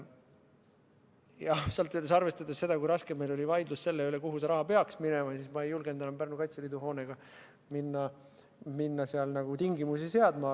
Jah, arvestades seda, kui raske vaidlus meil oli selle üle, kuhu see raha peaks minema, siis ma ei julgenud enam Pärnu Kaitseliidu hoone puhul minna tingimusi seadma.